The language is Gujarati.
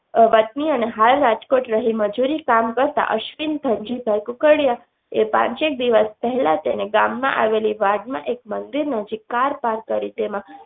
અ વતની અને હાલ રાજકોટ રહી મજૂરીકામ કરતાં અશ્વિન ધનજીભાઇ કુકડીયાએ પાંચેક દિવસ પહેલા તેને ગામમાં આવેલી વાડ માં એક મંત્રીનું જીપ કાર પાર્ક કરી તેમાં